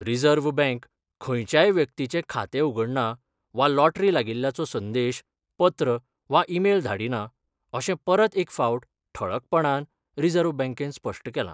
Reserve bank खंयच्याय व्यक्तीचें खातें उघडना वा लॉटरी लागिल्ल्याचो संदेश, पत्र वा ईमेल धाडिना अशें परत एक फावट ठळकपणान रिझर्व्ह बँकेन स्पश्ट केलां.